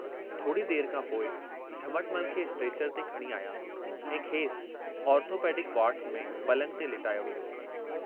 थोड़ी देर खां पोइ झमटमल खे स्ट्रक्चर ते खणी आया ऐं खेसि आर्थोपैडिक वार्ड में पलंग ते लेटायो वियो।